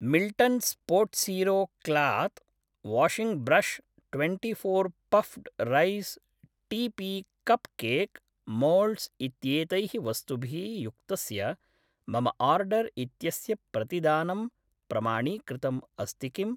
Milton Spotzero cloth washing brush twenty four puffed rice T P cupcake moulds इत्येतैः वस्तुभिः युक्तस्य मम आर्डर् इत्यस्य प्रतिदानं प्रमाणीकृतम् अस्ति किम्